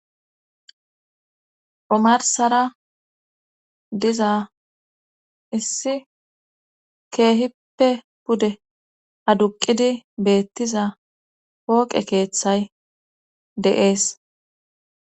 omarsara diza issi keehippe pude aduqidi beettiza pooqe keeththay de'ees